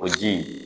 O ji